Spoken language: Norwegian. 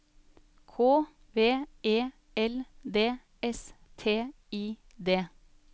K V E L D S T I D